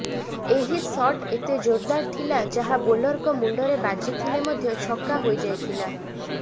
ଏହି ସଟ୍ ଏତେ ଜୋରଦାର ଥିଲା ଯାହା ବୋଲରଙ୍କ ମୁଣ୍ଡରେ ବାଜିଥିଲେ ମଧ୍ୟ ଛକା ହୋଇଯାଇଥିଲା